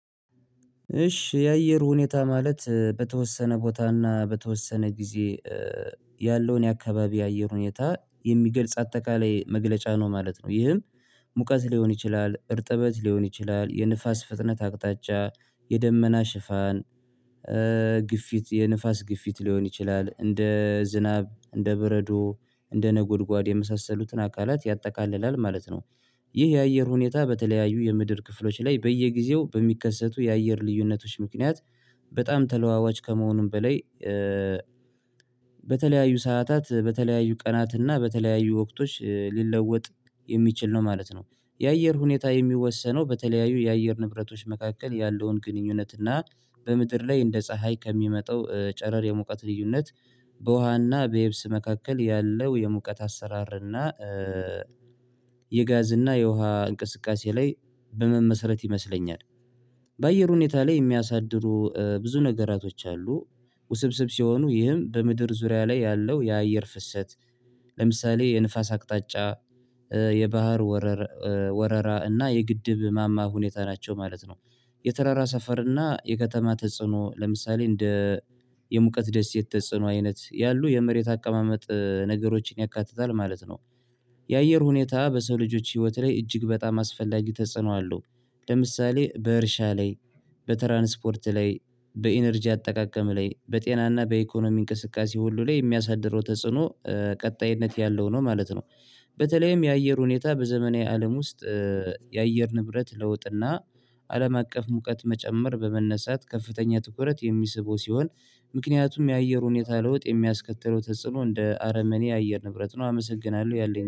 እሺ የአየር ሁኔታ ማለት በተወሰነ ቦታና በተወሰነ ጊዜ ያለውን የአካባቢ የአየር ሁኔታ የሚገልጽ አጠቃላይ መግለጫ ነው ማለት ነው። ይህም ሙቀት ሊሆን ይችላል እርጥበት ሊሆን ይችላል የንፋስ ፍጥነት አቅጣጫ የደመና ሽፋን። ግፊት የንፋስ ግፊት ሊሆን ይችላል እንደ ዝናብ እንደ በረዶ እንደ ነጎድጓድ የመሳሰሉትን አካላት ያጠቃልላል ማለት ነው። ይህ የአየር ሁኔታ በተለያዩ የምድር ክፍሎች ላይ በየጊዜው በሚከሰቱ የአየር ልዩነቶች ምክንያት በጣም ተለዋዋጭ ከመሆኑም በላይ። በተለያዩ ሰዓታት በተለያዩ ቀናት እና በተለያዩ ወቅቶች ሊለወጥ የሚችል ነው ማለት ነው። የአየር ሁኔታ የሚወሰነው በተለያዩ የአየር ንብረቶች መካከል ያለውን ግንኙነት እና በምድር ላይ እንደ ፀሀይ ከሚመጣው ጨረር የሙቀት ልዩነት በውሃና በየብስ መካከል ያለው የሙቀት አሰራርና የጋዝ እና የውሃ እንቅስቃሴ ላይ በመመሰረት ይመስለኛል። በአየር ሁኔታ ላይ የሚያሳድሩ ብዙ ነገራቶች አሉ። ውስብስብ ሲሆኑ ይህም በምድር ዙሪያ ላይ ያለው የአየር ፍሰት ለምሳሌ የንፋስ አቅጣጫ የባህር ወረራ ወረራ እና የግድብ ማማ ሁኔታ ናቸው ማለት ነው። የተራራ ሰፈር እና የከተማ ተጽዕኖ ለምሳሌ እንደ የሙቀት ደስ የተጽኖ አይነት ያሉ የመሬት አቀማመጥ ነገሮችን ያካትታል ማለት ነው። የአየር ሁኔታ በሰው ልጆች ህይወት ላይ እጅግ በጣም አስፈላጊ ተጽኖ አለው። ለምሳሌ በእርሻ ላይ በትራንስፖርት ላይ በኢነርጂ አጠቃቀም ላይ በጤናና በኢኮኖሚ እንቅስቃሴ ሁሉ ላይ የሚያሳድረው ተጽዕኖ ቀጣይነት ያለው ነው ማለት ነው። በተለይም የአየር ሁኔታ በዘመናዊ አለም ውስጥ የአየር ንብረት ለውጥና አለም አቀፍ ሙቀት መጨመር በመነሳት ከፍተኛ ትኩረት የሚስበው ሲሆን ምክንያቱም የአየር ሁኔታ ለውጥ የሚያስከትለው ተጽዕኖ እንደ አረመኔ የአየር ንብረት ነው አመሰግናለሁ። ያለኝ